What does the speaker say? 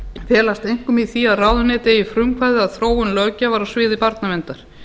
felast einkum í því að ráðuneytið eigi frumkvæði að þróun löggjafar á sviði barnaverndar